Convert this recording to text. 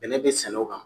Bɛnɛ be sɛnɛ o kan